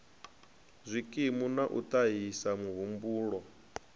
zwikimu na u ṱahisa mahumbulwa